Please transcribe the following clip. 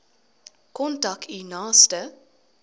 kontak u naaste